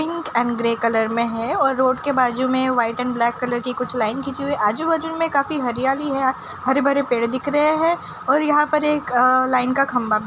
pink and grey colour में है और रोड के बाजु में वाइट एंड ब्लैक कलर की कुछ लाइन खींची हुई आजु बाजु में काफी हरियाली है हरे भरे पेड़ दिख रहे हैं और यहाँ पर एक अ-लाइन का खम्भा भी --